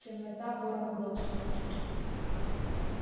темнота ворам удобство